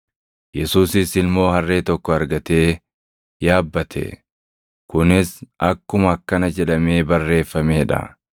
Yesuusis ilmoo harree tokko argatee yaabbate; kunis akkuma akkana jedhamee barreeffamee dha;